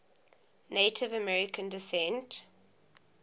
native american descent